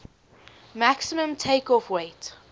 maximum takeoff weight